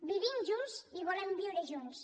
vivim junts i volem viure junts